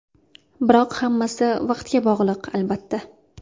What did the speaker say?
Biroq hammasi vaqtga bog‘liq, albattta.